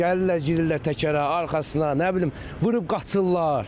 Gəlirlər girirlər təkərə, arxasına, nə bilim vurub qaçırlar.